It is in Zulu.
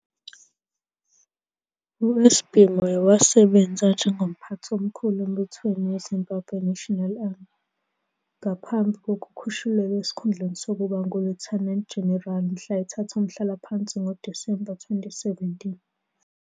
USB Moyo wasebenza njengomphathi omkhulu embuthweni weZimbabwe National Army, ngaphambi kokukhushulelwa esikhundleni sokuba nguLieutenant General mhla ethatha umhlalaphansi ngoDisemba 2017.